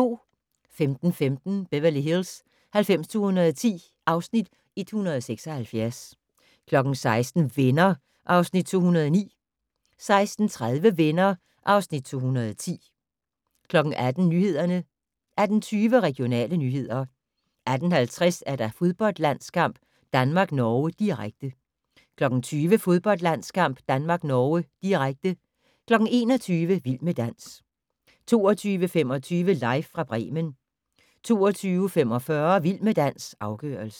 15:15: Beverly Hills 90210 (Afs. 176) 16:00: Venner (Afs. 209) 16:30: Venner (Afs. 210) 18:00: Nyhederne 18:20: Regionale nyheder 18:50: Fodboldlandskamp: Danmark-Norge, direkte 20:00: Fodboldlandskamp: Danmark-Norge, direkte 21:00: Vild med dans 22:25: Live fra Bremen 22:45: Vild med dans - afgørelsen